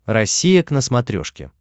россия к на смотрешке